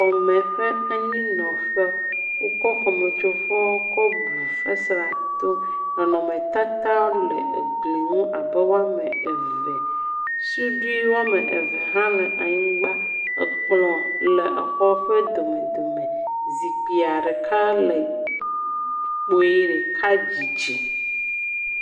Xɔme ƒe anyinɔƒe. Wokɔ xɔmetsovɔ kɔbu fesrea to, nɔnɔmetata le egli ŋu abe woame eve. Suɖui woame eve hã le anyigba. Ekplɔ̃ le exɔ ƒe domedome. Zikpuia ɖeka le kpuie, ɖeka dzidzi.